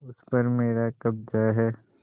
उस पर मेरा कब्जा है